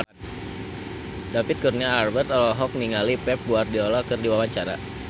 David Kurnia Albert olohok ningali Pep Guardiola keur diwawancara